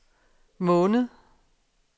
måned